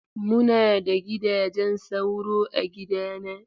Muna da gidajen sauro a gidana.